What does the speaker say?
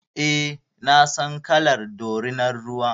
Eh, na san kalar dorinan ruwa.